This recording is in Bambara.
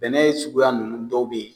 Bɛnɛ ye suguya ninnu dɔw bɛ yen